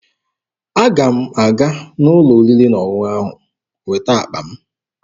Aga m aga n'ụlọ oriri na ọṅụṅụ ahụ weta akpa m